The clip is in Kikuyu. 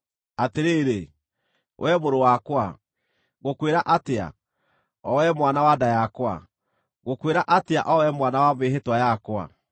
“Atĩrĩrĩ, wee mũrũ wakwa, ngũkwĩra atĩa, o wee mwana wa nda yakwa, ngũkwĩra atĩa o wee mwana wa mĩĩhĩtwa yakwa,